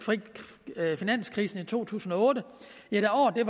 finanskrisen i to tusind og otte